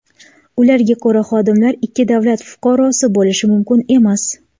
Ularga ko‘ra, xodimlar ikki davlat fuqarosi bo‘lishi mumkin emas.